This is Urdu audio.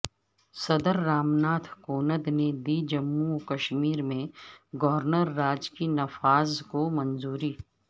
صدر رام ناتھ کوند نے دی جموں وکشمیرمیں گورنر راج کے نفاذ کو منظوری